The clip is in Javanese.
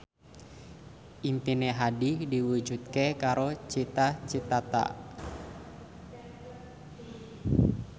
impine Hadi diwujudke karo Cita Citata